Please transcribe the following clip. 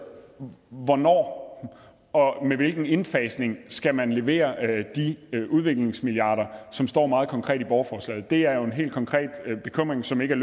hvornår og med hvilken indfasning skal man levere de udviklingsmilliarder som står meget konkret i borgerforslaget det er jo en helt konkret bekymring som ikke er